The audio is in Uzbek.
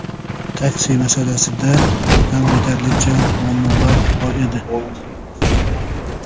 Taksi masalasida ham yetarlicha muammolar bor edi.